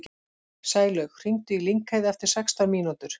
Sælaug, hringdu í Lyngheiði eftir sextán mínútur.